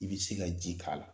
I be se ka ji k'a la